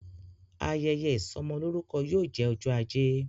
Ayẹyẹ isomolorukọ yóò jẹ ọjọ ajé